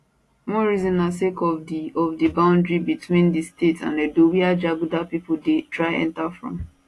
one reason na sake of di of di boundary between di state and edo wia jaguda pipo dey try enta from